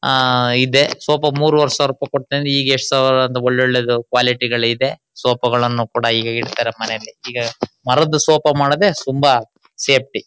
ಆಹ್ಹ್ ಇದೇ ಸೋಪಾ ಮೂರುವರೆ ಸಾವಿರ ರುಪಾಯೀ ಕೊಟ್ಟ ತಂದಿ ಈಗ ಎಷಟು ಸಾವಿರ ಅಂತಾ ಒಳ್ಳೆ ಒಳ್ಳೆದು ಕ್ವಾಲಿಟಿ ಗಳು ಇದೆ. ಸೋಪಾ ಗಳನ್ನು ಕೂಡಾ ಈಗ ಇಡ್ತಾರೆ ಮನೆಲ್ಲಿ ಈಗ ಮರದ್ ಸೋಪಾ ಮಾಡೋದೇ ತುಂಬಾ ಸೇಫ್ಟಿ .